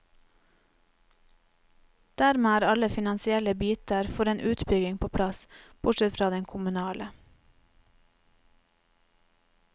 Dermed er alle finansielle biter for en utbygging på plass, bortsett fra den kommunale.